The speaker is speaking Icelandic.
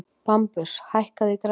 Bambus, hækkaðu í græjunum.